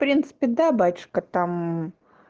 в принципе да батюшка там